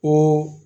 O